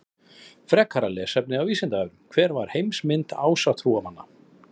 Frekara lesefni á Vísindavefnum: Hver var heimsmynd ásatrúarmanna?